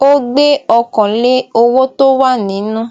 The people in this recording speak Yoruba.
o gbe okan le owo to wa ninu